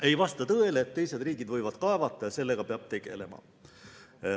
Ei vasta tõele, et teised riigid võivad kaevata ja sellega peab tegelema.